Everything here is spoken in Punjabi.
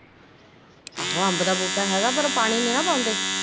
ਆਹੋ ਅੰਬ ਦਾ ਬੂਟਾ ਹੇਗਾ ਵਾ ਪਾਰ ਪਾਣੀ ਨੀ ਨਾ ਪਾਉਂਦੇ